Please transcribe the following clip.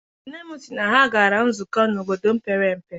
Nne m sị na ha gara nzukọ n'obodo mepere emepe.